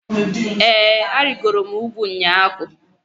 ee, arịgoro m ugwu ụnyahụ